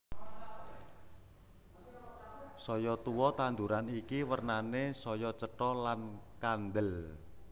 Saya tuwa tanduran iki wernané saya cetha lan kandel